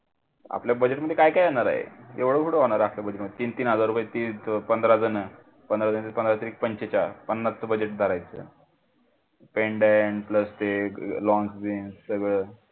आपल्या budget मध्ये काय काय येणार आहे एवढा कुठे होणार आहे आपल्या budget मध्ये तीन-तीन हजार रुपयात पंधरा जण पंधरा त्रिक पांचेचाळ पन्नसच budget रायते